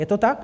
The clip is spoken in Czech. Je to tak?